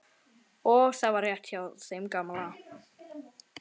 Og það var rétt hjá þeim gamla.